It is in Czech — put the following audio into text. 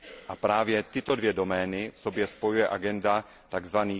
A právě tyto dvě domény v sobě spojuje agenda tzv.